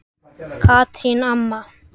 Katrín amma.